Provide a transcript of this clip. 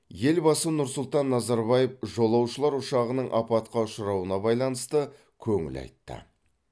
елбасы нұрсұлтан назарбаев жолаушылар ұшағының апатқа ұшырауына байланысты көңіл айтты